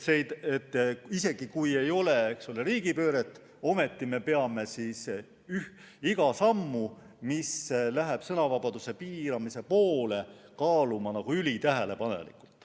Isegi kui ei ole riigipööret, peame ometi iga sammu, mis läheb sõnavabaduse piiramise poole, kaaluma ülitähelepanelikult.